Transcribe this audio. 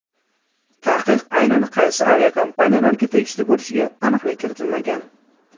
Taqiq aynan qaysi aviakompaniyalarga tegishli bo‘lishiga aniqlik kiritilmagan.